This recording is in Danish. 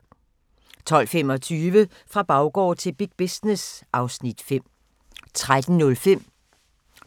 12:25: Fra baggård til big business (Afs. 5) 13:05: